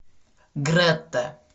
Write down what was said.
гретта